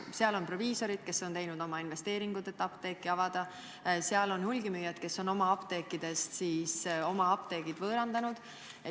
Need on proviisorid, kes on teinud investeeringuid, et apteeki avada, need on hulgimüüjad, kes on oma apteegid võõrandanud.